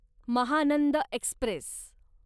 Mahanand Express